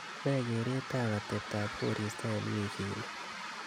ne kereet ab atebtab koristo en wifini